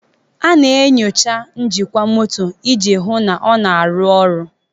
A na-enyocha njikwa moto iji hụ na ọ na-arụ ọrụ.